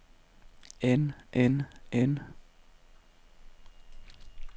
end end end